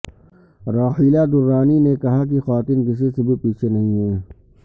راحیلہ درانی نے کہا کہ خواتین کسی سے بھی پیچھے نہیں ہیں